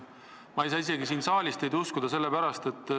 Ma ei saa isegi siin saalis teid uskuda.